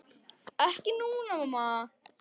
Ekki núna, mamma.